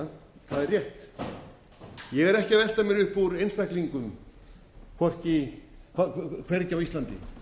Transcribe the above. er rétt ég er ekki að velta mér upp úr einstaklingum hvergi á íslandi